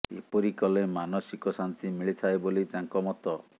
ଏପରି କଲେ ମାନସିକ ଶାନ୍ତି ମିଳିଥାଏ ବୋଲି ତାଙ୍କ ମତ